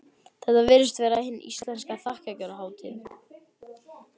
Þetta virðist vera hin íslenska þakkargjörðarhátíð.